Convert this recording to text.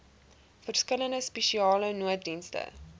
verskillende spesiale nooddienste